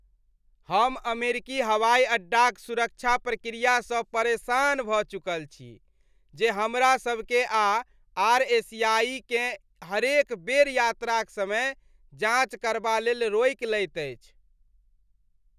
हम अमेरिकी हवाइ अड्डाक सुरक्षा प्रक्रियासँ परेशान भऽ चुकल छी, जे हमरा सभकेँ आ आर एशियाई केँ हरेक बेर यात्राक समय जाँच करबा लेल रोकि लैत अछि।